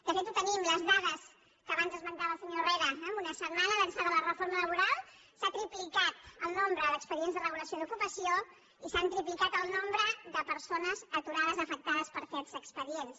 de fet ho tenim les dades que abans esmentava el senyor herrera amb un setmana d’ençà de la reforma laboral s’ha triplicat el nombre d’expedients de regulació d’ocupació i s’ha triplicat el nombre de persones aturades afectades per aquests expedients